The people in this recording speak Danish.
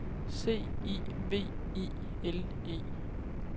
C I V I L E